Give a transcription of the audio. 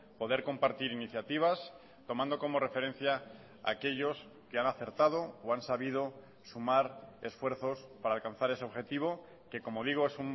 poder compartir iniciativas tomando como referencia aquellos que han acertado o han sabido sumar esfuerzos para alcanzar ese objetivo que como digo es